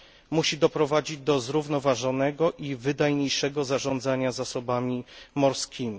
Musi doprowadzić do zrównoważonego i wydajniejszego zarządzania zasobami morskimi.